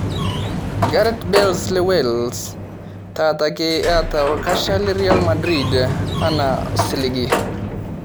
Gareth Bale le wales le wales taata ake eeta orkocha le Real madrid enaa osiligi